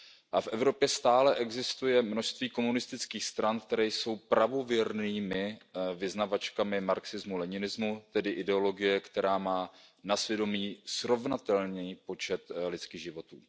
A v Evropě stále existuje množství komunistických stran, které jsou pravověrnými vyznavačkami marxismu leninismu, tedy ideologie, která má na svědomí srovnatelný počet lidských životů.